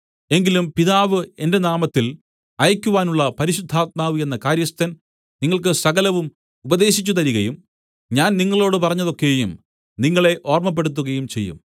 എങ്കിലും പിതാവ് എന്റെ നാമത്തിൽ അയക്കുവാനുള്ള പരിശുദ്ധാത്മാവ് എന്ന കാര്യസ്ഥൻ നിങ്ങൾക്ക് സകലവും ഉപദേശിച്ചുതരികയും ഞാൻ നിങ്ങളോടു പറഞ്ഞത് ഒക്കെയും നിങ്ങളെ ഓർമ്മപ്പെടുത്തുകയും ചെയ്യും